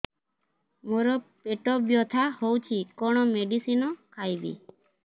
ମୋର ପେଟ ବ୍ୟଥା ହଉଚି କଣ ମେଡିସିନ ଖାଇବି